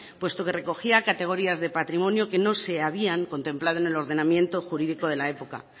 puesto que recogía categorías de patrimonio que no se habían contemplado en el ordenamiento jurídico de la época